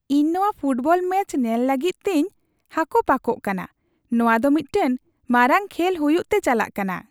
ᱤᱧ ᱱᱚᱣᱟ football match ᱧᱮᱞ ᱞᱟᱹᱜᱤᱫ ᱛᱮᱧ ᱦᱟᱠᱚᱯᱟᱠᱚᱜ ᱠᱟᱱᱟ ! ᱱᱚᱣᱟ ᱫᱚ ᱢᱤᱫᱴᱟᱝ ᱢᱟᱨᱟᱝ ᱠᱷᱮᱞ ᱦᱩᱭᱩᱜ ᱛᱮ ᱪᱟᱞᱟᱜ ᱠᱟᱱᱟ ᱾